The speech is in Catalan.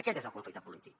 aquest és el conflicte polític